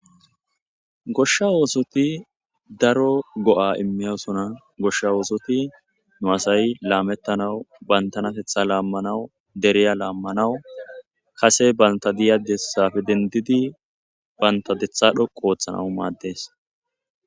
Goshsha oosoti daro go7a immiyosona. Goshsha oosoti nu asay laamettanawu bantanatetha laammanawu deriya laammanawu kase banta diya dessafe denddidi banta detha dhoqqu ooththanawu maaddes.